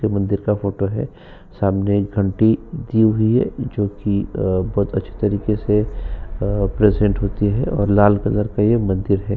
ये मंदिर का फ़ोटो है। सामने एक घंटी लगी हुई है जोकि अ बहुत अच्छी तरीके से अ प्रीजेंट होती है और लाल कलर का ये मंदिर है।